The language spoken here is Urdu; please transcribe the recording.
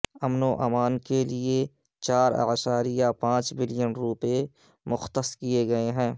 امن و امان کے لیے چار اعشاریہ پانچ بلین روپے مختص کیے گئے ہیں